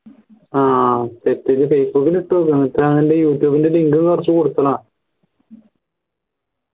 ആഹ് facebook ൽ ഇട്ടോ youtube ന്റെ link